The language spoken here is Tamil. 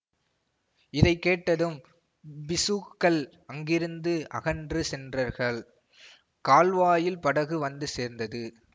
இதை கேட்டதும் பிக்ஷுக்கள் அங்கிருந்து அகன்று சென்றர்கள் கால்வாயில் படகு வந்து சேர்ந்தது